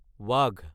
ৱাঘ